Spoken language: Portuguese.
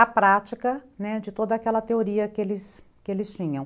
a prática, né, de toda aquela teoria que eles tinham.